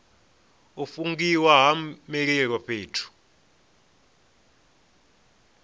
u fungiwa ha mililo fhethu